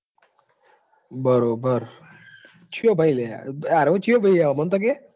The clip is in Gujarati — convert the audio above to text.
બરાબર ચિયો ભાઈ લેહે. એવો તો ચિયો ભાઈ હે અમોન તો કે